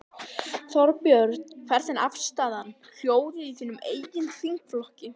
Þorbjörn: Hvernig er afstaðan, hljóðið í þínum eigin þingflokki?